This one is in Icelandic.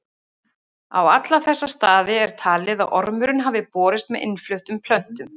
Á alla þessa staði er talið að ormurinn hafi borist með innfluttum plöntum.